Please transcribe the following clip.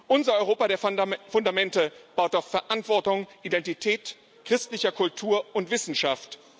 Unser Europa der Fundamente baut auf Verantwortung, Identität, christlicher Kultur und Wissenschaft.